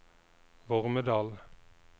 Vormedal